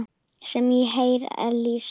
sem hér er lýst?